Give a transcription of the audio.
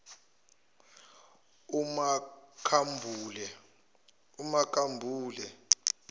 umakhambule